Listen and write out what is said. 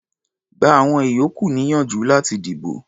Gba àwọn ìyókù níyànjú láti dìbò.